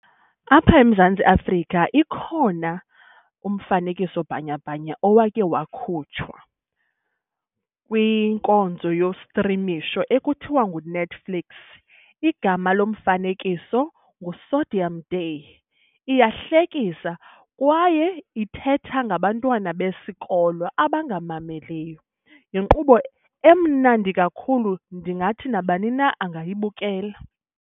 Apha eMzantsi Afrika ikhona umfanekiso-bhanyabhanya owakhe wakhutshwa kwinkonzo yostrimisho ekuthiwa nguNetflix. Igama lomfanekiso nguSodium Day. Iyahlekisa kwaye ithetha ngabantwana besikolo abangamameliyo yinkqubo emnandi kakhulu ndingathi nabani na angayibukela.